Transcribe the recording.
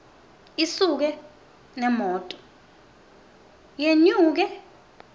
isuke nemoto yenyuke